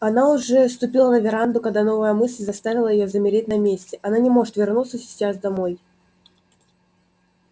она уже ступила на веранду когда новая мысль заставила её замереть на месте она не может вернуться сейчас домой